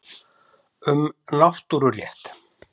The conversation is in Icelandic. Um náttúrurétt.